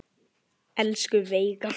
Elsku Veiga.